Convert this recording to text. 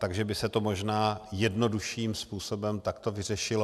Takže by se to možná jednodušším způsobem takto vyřešilo.